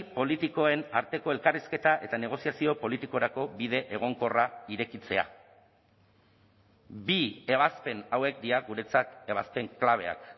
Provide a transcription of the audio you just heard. politikoen arteko elkarrizketa eta negoziazio politikorako bide egonkorra irekitzea bi ebazpen hauek dira guretzat ebazpen klabeak